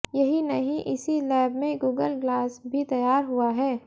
यही नहीं इसी लैब में गूगल ग्लास भी तैयार हुआ है